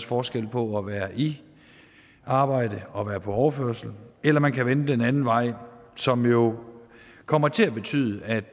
forskel på at være i arbejde og at være på overførsel eller man kan vælge den anden vej som jo kommer til at betyde at